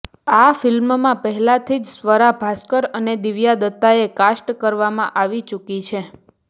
આ ફિલ્મમાં પહેલાથી જ સ્વરા ભાસ્કર અને દિવ્યા દત્તાને કાસ્ટ કરવામાં આવી ચૂકી છે